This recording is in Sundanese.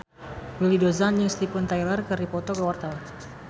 Willy Dozan jeung Steven Tyler keur dipoto ku wartawan